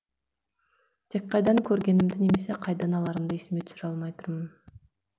тек қайдан көргенімді немесе қайдан аларымды есіме түсіре алмай тұрмын